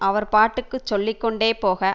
அவர் பாட்டுக்கு சொல்லி கொண்டே போக